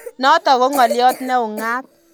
Notok ko ng'alyo ne ung'aat